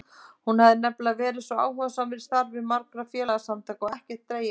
Ég hafði nefnilega verið svo áhugasamur í starfi margra félagasamtaka og ekkert dregið af mér.